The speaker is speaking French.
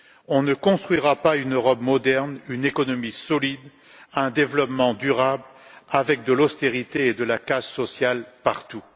On ne construira pas une Europe moderne, une économie solide ou un développement durable avec de l'austérité et de la casse sociale partout.